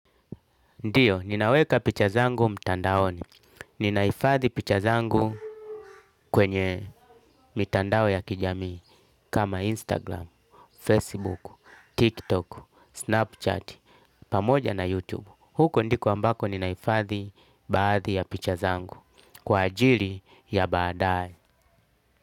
Ndiyo, ninaweka picha zangu mtandaoni. Ninaifadhi picha zangu kwenye mitandao ya kijamii kama Instagram, Facebook, TikTok, Snapchat, pamoja na YouTube. Huko ndiko ambako ninaifadhi baadhi ya picha zangu kwa ajili ya baadae.